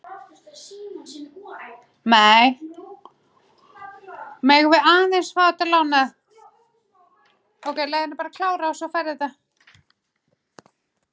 Megi Guð blessa ykkur.